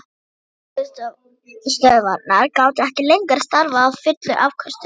Jarðgufustöðvarnar gátu ekki lengur starfað á fullum afköstum.